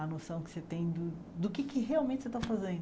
A noção que você tem de do que é que realmente você está fazendo.